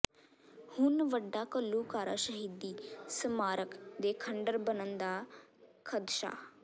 ਹੁਣ ਵੱਡਾ ਘੱਲੂਘਾਰਾ ਸ਼ਹੀਦੀ ਸਮਾਰਕ ਦੇ ਖੰਡਰ ਬਣਨ ਦਾ ਖ਼ਦਸ਼ਾ